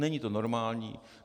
Není to normální.